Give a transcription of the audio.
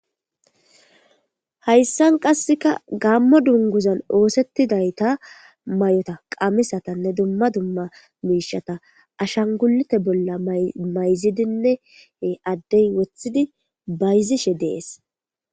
Hayssan qassika gaammo dungguzan ooseththidatha maayotha qamisathanne dumma dumma miishshatha ashangguliitha bolla mayzidinne addee woththidi bayzishe de7ees.